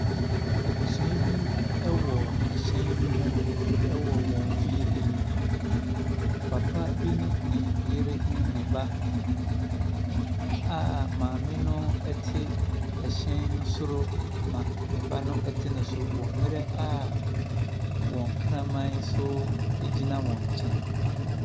Abusua bi wɔ ɛhyɛn bi ho wɔ wɔn fie anim. Papa bi ne yere ne ne ba a maame no ɛte ɛhyɛn no soro na ne ba no te ne so wɔ mere a wɔn kraman nso gyina wɔn nkyɛn.